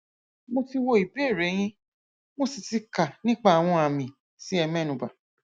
mo ti wo ìbéèrè yín mo sì ti kà nípa àwọn àmì tí ẹ mẹnubà